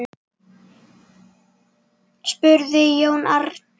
spurði Jón Arason.